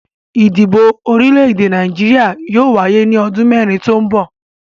Ìdìbò orílẹ̀-èdè Nàìjíríà yóò wáyé ní ọdún mẹ́rin tó ń bọ̀.